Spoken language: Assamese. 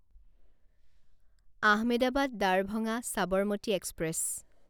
আহমেদাবাদ দাৰভাঙা ছাবৰমতি এক্সপ্ৰেছ